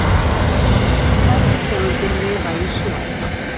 Færri tegundir lifa í sjó.